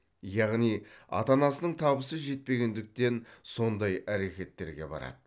яғни ата анасының табысы жетпегендіктен сондай әрекеттерге барады